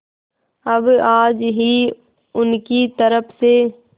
अब आज ही उनकी तरफ से